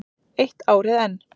Eitt árið enn.